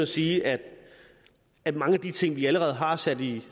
sige at at mange af de ting vi allerede har sat i